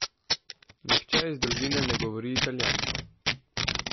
Nihče iz družine ne govori italijansko.